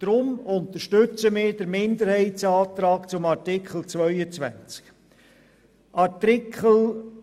Deshalb unterstützen wir den Minderheitsantrag zu Artikel 22.